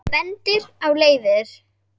Bendir á leiðir.